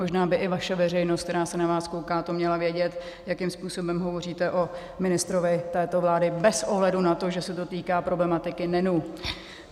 Možná by i vaše veřejnost, která se na vás kouká, to měla vědět, jakým způsobem hovoříte o ministrovi této vlády bez ohledu na to, že se to týká problematiky NEN.